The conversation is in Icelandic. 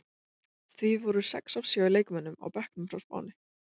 Því voru sex af sjö leikmönnum á bekknum fá Spáni.